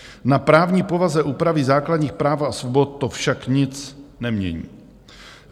Na právní povaze úpravy základních práv a svobod to však nic nemění.